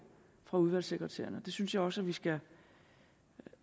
fra udvalgssekretærerne det synes jeg også vi skal